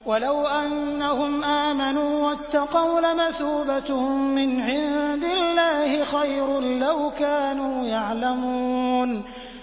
وَلَوْ أَنَّهُمْ آمَنُوا وَاتَّقَوْا لَمَثُوبَةٌ مِّنْ عِندِ اللَّهِ خَيْرٌ ۖ لَّوْ كَانُوا يَعْلَمُونَ